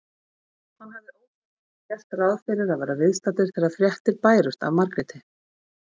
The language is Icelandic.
Hann hafði ósjálfrátt gert ráð fyrir að vera viðstaddur þegar fréttir bærust af Margréti.